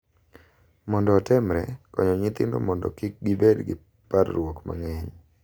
Mondo otemre, konyo nyithindo mondo kik gibed gi parruok mang’eny